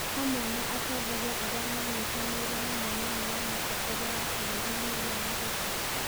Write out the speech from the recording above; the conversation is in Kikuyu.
Hamwe na atongoria arĩa manyitanĩire na Mũnini wa Mũtongoria wa bũrũri William Ruto.